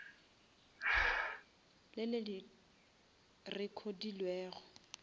le le recodilwego